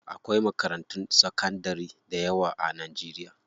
Akwai makarantun sakandari dayawa a Najeriya.